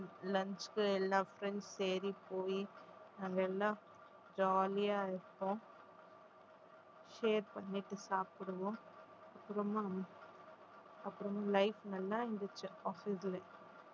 lunch க்கு எல்லா friends ஏறி போயி நாங்க எல்லாம் jolly யா இருப்போம் share பண்ணிட்டு சாப்பிடுவோம் அப்புறமா அப்புறம் life நல்லா இருந்துச்சு office லயே